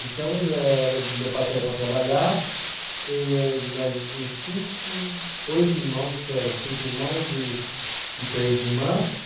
Então, eh meu pai saía para trabalhar, e eh nós em cinco, oito irmãos, que era cinco irmãos e e três irmãs.